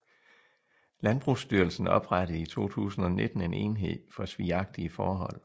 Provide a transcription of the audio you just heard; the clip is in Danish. Landbrugsstyrelsen oprettede i 2019 en enhed for svigagtige forhold